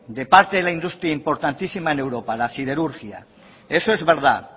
de parte de la industria importantísima en europa la siderurgia eso es verdad